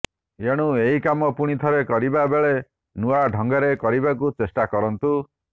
ଏଣୁ ଏହି କାମ ପୁଣି ଥରେ କରିବା ବେଳେ ନୂଆ ଢଙ୍ଗରେ କରିବାକୁ ଚେଷ୍ଟା କରନ୍ତୁ